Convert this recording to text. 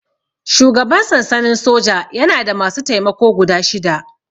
Shugaban sansanin soja yana da masu taimako guda shida